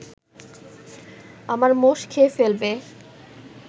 আমার মোষ খেয়ে ফেলবে